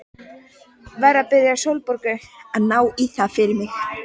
Verð að biðja Sólborgu að ná í það fyrir mig.